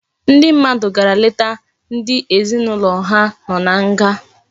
Ndi mmadu gara leta ndi ezinaulo ha no na nga